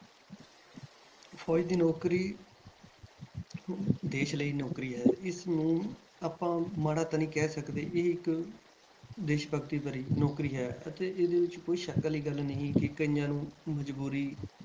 ਫ਼ੌਜ ਦੀ ਨੌਕਰੀ ਦੇਸ ਲਈ ਨੌਕਰੀ ਹੈ ਇਸਨੂੰ ਆਪਾਂ ਮਾੜਾ ਤਾਂ ਨੀ ਕਹਿ ਸਕਦੇ ਇਹ ਇੱਕ ਦੇਸ ਭਗਤੀ ਭਰੀ ਨੌਕਰੀ ਹੈ ਅਤੇ ਇਹਦੇ ਵਿੱਚ ਕੋਈ ਸ਼ੱਕ ਵਾਲੀ ਗੱਲ ਨਹੀਂ ਹੈ ਕਿ ਕਈਆਂ ਨੂੰ ਮਜ਼ਬੂਰੀ,